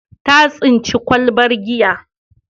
Ta tsinci kwalabar giya.